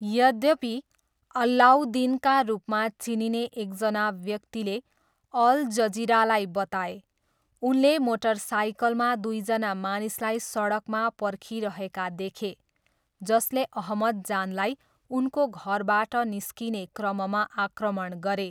यद्यपि, अल्लाउद्दिनका रूपमा चिनिने एकजना व्यक्तिले अल जजिरालाई बताए, उनले मोटरसाइकलमा दुईजना मानिसलाई सडकमा पर्खिरहेका देखे, जसले अहमद जानलाई उनको घरबाट निस्किने क्रममा आक्रमण गरे।